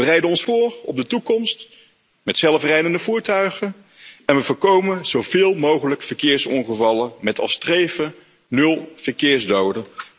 We bereiden ons voor op de toekomst met zelfrijdende voertuigen en we voorkomen zoveel mogelijk verkeersongevallen met als streven nul verkeersdoden.